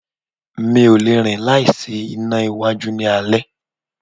Mi o lẹ̀ rín láì sí iná iwájú ní alé.